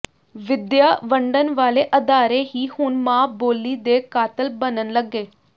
ਵਿੱਦਿਆ ਵੰਡਣ ਵਾਲੇ ਅਦਾਰੇ ਹੀ ਹੁਣ ਮਾਂ ਬੋਲੀ ਦੇ ਕਾਤਲ ਬਣਨ ਲੱਗੇ